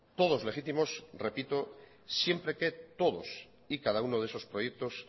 todos legítimos repito siempre que todos y cada uno de esos proyectos